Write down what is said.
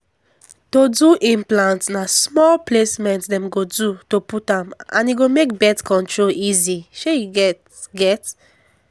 to do implant na small placement dem go do to put am and e make birth control easy shey you get. get.